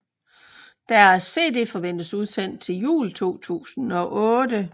Deres cd forventes udsendt til jul 2008